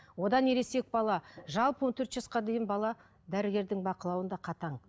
одан ересек бала жалпы он төрт жасқа дейін бала дәрігердің бақылауында қатаң